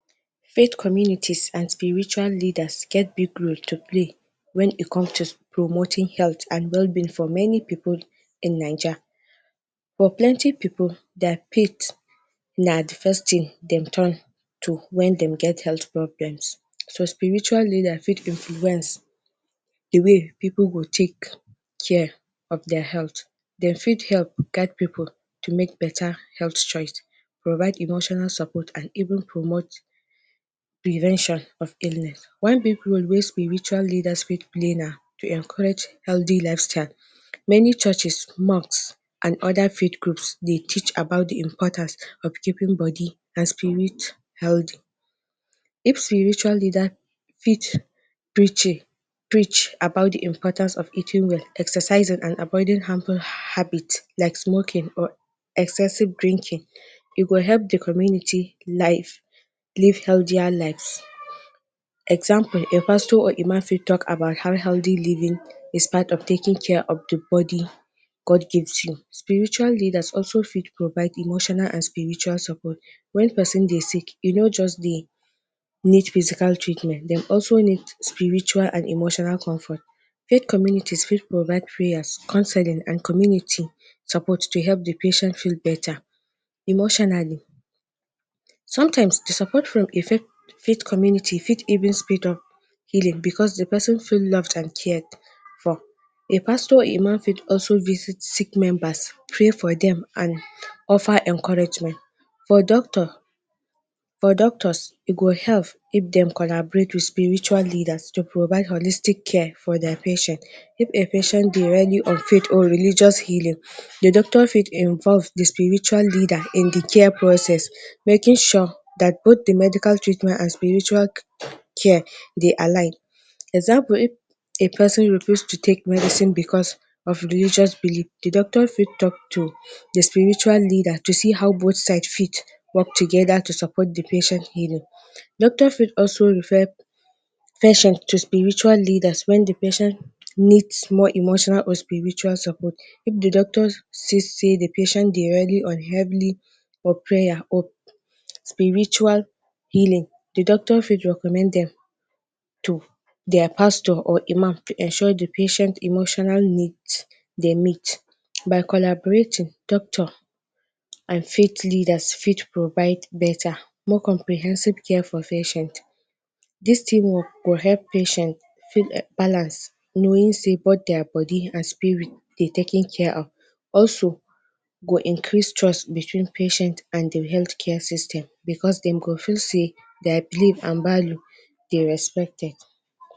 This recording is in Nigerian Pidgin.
Faith community and spiritual leaders get big role to play when e come to promoting health and well-being for many pipul in Naija. But plenty pipul dat pit na the first thing dem turn to when dem get health problem. So spiritual leaders fit influence the way pipul go take care of their health. dem fit help guide pipul to make better health choice provide emotional support and even promote prevention of illness. When pipul wey spiritual leaders fit play na to encourage healthy lifestyle. Many churches, mosques and other field groups dey teach about the importance of keeping body and spirit healthy. If spiritual leader fit preaching preach about the important of eating well, exercising and avoiding harmful habit like smoking or excessive drinking e go help the community life live healthier lives. Example a pastor or imam fit talk about how healthy living is pat of taking care of the body God gives you. Spiritual leader also fit provide spiritual and emotional support when person dey sick e no just they need physical treatment dey also need spiritual and emotional comfort. If communities fit provide prayers, counselling and community suppose to help the patient feel better emotionally. Sometimes the support from effective community fit speed up healing because the person feel loved and cared for. A pastor or imam also fit visit sick members pray for dem and offer encouragement. For doctor, for doctors e go help if dem collaborate with spiritual leader to provide holistic care for their patient if a patient on faith or religious healing the doctor fit involve the spiritual leader in the care process making sure that both the medical treatment and spiritual care dey align. Example if a person refuse to take medicine because of religious belief, the doctor fit talk to spiritual leader to see how both side fit work together to support the patient healing. Doctor fit also refer patient to spiritual leaders when the patient need emotional or spiritual support if the doctor see say the patient dey unhealthly Prayer spiritual healing doctor fit recommend dem to their pastor or imam to ensure the patient emotional need dey meet. By collaborating doctor and faith leaders fit provide beta more comprehensive care for patient. This thing go help patient feel balance knowing sey both their body and spirit they taken are of also go increase trust between the patient and the healthcare system because dem go feel say their belief and value dey respected.